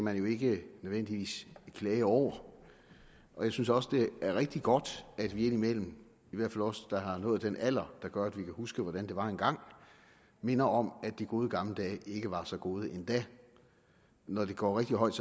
man jo ikke nødvendigvis klage over jeg synes også det er rigtig godt at vi indimellem i hvert fald os der har nået den alder der gør at vi kan huske hvordan det var engang minder om at de gode gamle dage ikke var så gode endda når det går rigtig højt